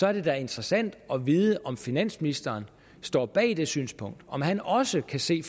er det da interessant at vide om finansministeren står bag det synspunkt kan han også se